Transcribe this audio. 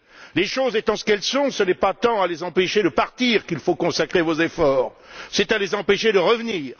Les choses étant ce qu'elles sont, ce n'est pas tant à les empêcher de partir qu'il faut consacrer vos efforts, c'est à les empêcher de revenir.